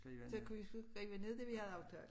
Så kunne vi skrive ned det vi havde aftalt